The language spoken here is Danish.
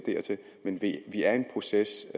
men vi er i en proces